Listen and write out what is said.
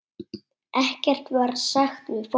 Ekkert var sagt við fólkið.